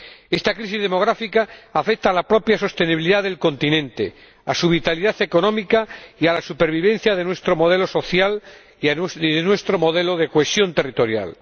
Esta crisis demográfica afecta a la propia sostenibilidad del continente, a su vitalidad económica y a la supervivencia de nuestro modelo social y de nuestro modelo de cohesión territorial.